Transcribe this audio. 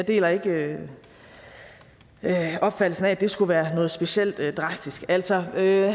deler ikke opfattelsen af at det skulle være noget specielt drastisk altså havde